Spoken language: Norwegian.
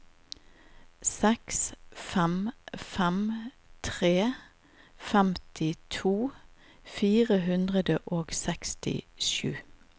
seks fem fem tre femtito fire hundre og sekstisju